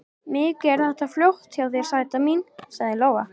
Mikið er þetta flott hjá þér, sæta mín, sagði Lóa.